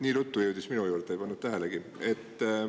Nii ruttu jõudis minuni, ei pannud tähelegi.